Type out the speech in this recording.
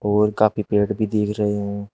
और काफी पेड़ भी दिख रहे हैं।